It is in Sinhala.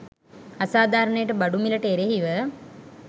අසාධාරණයට බඩු මිලට එරෙහිව